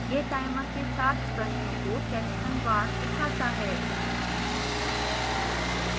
यह timer के साथ प्रश्नों को sectionवार दिखाता है